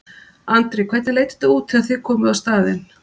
Andri: Hvernig leit þetta út þegar þið komuð á staðinn?